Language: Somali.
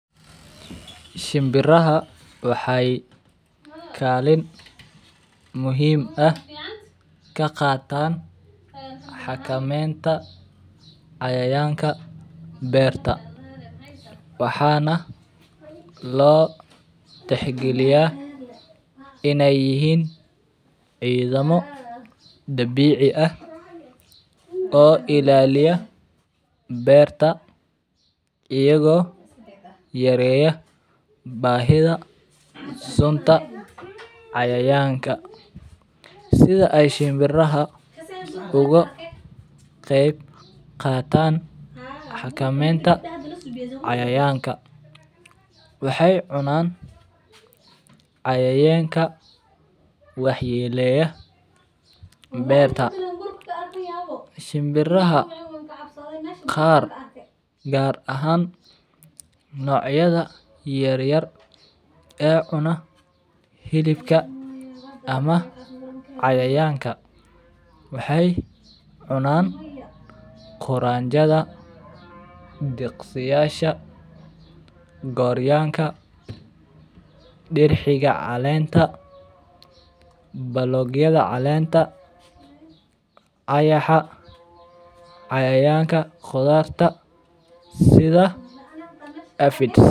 Shinbiraha wxay kalin muhim ah kaqatan xakamenta cayayanka berta wxana lotixgiliya inay yihin cidamo dabici ah oo ilaliya berta iyago yareya bahida sunta cayayanka ,sitha ay shimbiraha ugu qebqatan, xakamenta cayayanka wxay cunan cayaynka wax yeleya berta ,shimbiraha qar gar ahan nocyada yaryar ee cuna hilipka (cs )ama cayayanka wxay cunan quranjada diqsiyasha, goryanka, dirxiga calenta, balog yada calenta, ayaxa, cayayanka qudarta sida Afids.